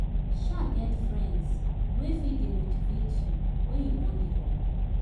sha get friends wey fit dey motivate yu wen yu wan giv up